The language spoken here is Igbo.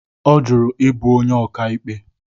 Ọ jụrụ ịbụ onye ọkàikpe.